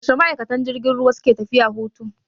Yaushe ma'aikatan jirgin ruwa suke tafiya hutu?